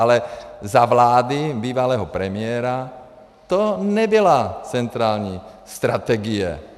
Ale za vlády bývalého premiéra to nebyla centrální strategie.